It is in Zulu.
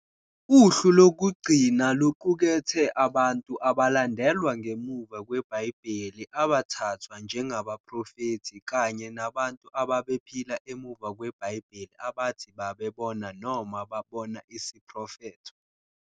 Uhlu lokugcina luqukethe abantu abalandelwa ngemuva kweBhayibheli abathathwa njengabaprofethi kanye nabantu ababephila emuva kweBhayibheli abathi babebona noma babona isiprofetho.